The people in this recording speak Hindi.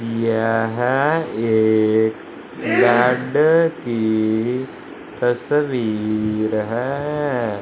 यह एक बेड की तस्वीर है।